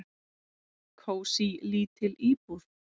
"""Kósí, lítil íbúð."""